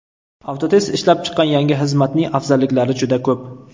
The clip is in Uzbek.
Avtotest ishlab chiqqan yangi xizmatning afzalliklari juda ko‘p.